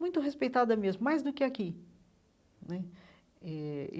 Muito respeitada mesmo, mais do que aqui né eh.